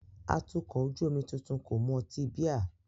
Atukọ̀ ojú omi tuntun kò mu ọtí bíà